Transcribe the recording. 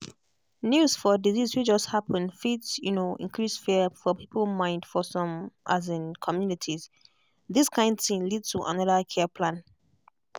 news for disease way just happen fit um increase fear for people mind for some um communitiesthis kind thing lead to another care plan.